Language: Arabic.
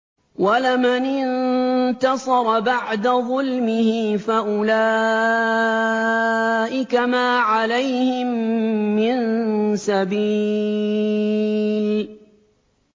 وَلَمَنِ انتَصَرَ بَعْدَ ظُلْمِهِ فَأُولَٰئِكَ مَا عَلَيْهِم مِّن سَبِيلٍ